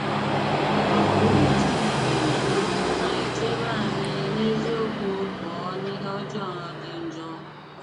Ìwù Chìnékè um na-èchèbè ànyị̀ n’eziokwu pụọ n’ìhè ọ̀jọọ dị njọ.